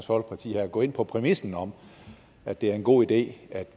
folkeparti her gå ind på præmissen om at det er en god idé at